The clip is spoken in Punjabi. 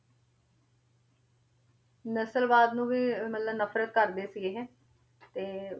ਨਸਲਵਾਦ ਨੂੰ ਵੀ ਮਤਲਬ ਨਫ਼ਰਤ ਕਰਦੇ ਸੀ ਇਹ ਤੇ